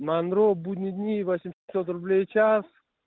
монро будние дни восемьсот рублей в час